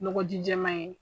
Nɔgɔ ji jɛman ye.